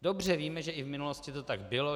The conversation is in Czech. Dobře víme, že i v minulosti to tak bylo.